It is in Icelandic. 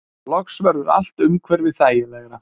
Loks verður allt umhverfi þægilegra.